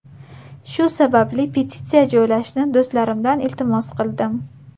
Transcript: Shu sababli petitsiya joylashni do‘stlarimdan iltimos qildim.